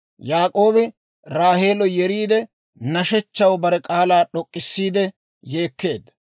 Yaak'oobi Raaheelo yeriide, nashechchaw bare k'aalaa d'ok'k'isiide yeekkeedda.